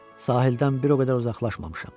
Sahildən bir o qədər uzaqlaşmamışam.